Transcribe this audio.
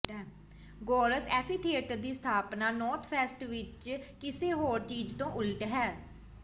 ਗੋਰਸ amphitheatre ਦੀ ਸਥਾਪਨਾ northwest ਵਿਚ ਕਿਸੇ ਹੋਰ ਚੀਜ਼ ਤੋਂ ਉਲਟ ਹੈ